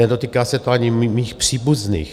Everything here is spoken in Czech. Nedotýká se to ani mých příbuzných.